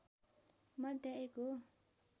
मध्य एक हो